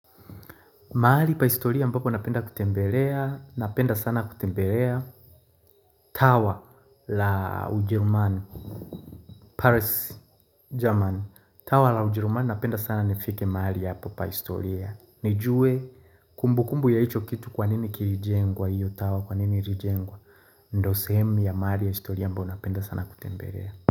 Mahali pa historia ambapo napenda kutembelea, napenda sana kutembelea. Tawa la Ujerumani, Paris, German. Tawa la Ujerumani napenda sana nifike mahali hapo pa historia. Nijue kumbu kumbu ya hicho kitu kwanini kilijengwa hiyo, tawa kwanini ilijengwa. Ndo sehemu ya mahali ya historia ambayo napenda sana kutembelea.